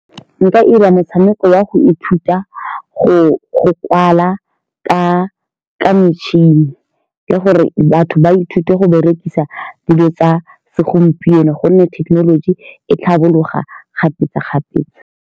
Nka 'ira motshameko wa go ithuta, go-go kwala ka-ka metšhini, le gore batho ba ithute go berekisa dilo tsa segompieno ka gonne thekenoloji. E tlhabologa kgapetsa-kgapetsa.